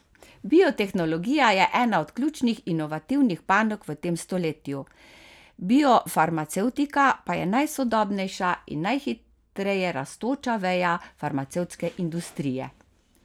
Biotehnologija je ena od ključnih inovativnih panog v tem stoletju, biofarmacevtika pa je najsodobnejša in najhitreje rastoča veja farmacevtske industrije.